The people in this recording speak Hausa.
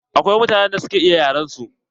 Akwai mutanen da suka iya yaren su.